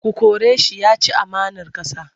Ku kore shi! Ya ci amanar ƙasa.